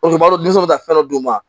O b'a dɔn ka fɛn dɔ d'u ma